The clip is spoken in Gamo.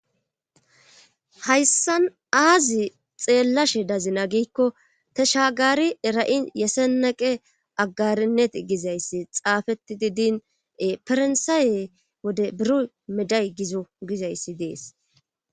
hayssan aazi xeellashe dazina giikko tashagaari era7i yeseneqe aggarinnet gizayssi xaafeti diddinee farnsaaye wode biru meday gizo gizayssi dees